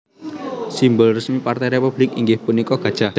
Simbol resmi Partai Republik inggih punika gajah